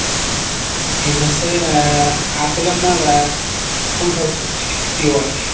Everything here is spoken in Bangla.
হচ্ছে আহ আসলে আপনার আহ কোন খেলার সবচেয়ে বেশি প্রিয় আর কি?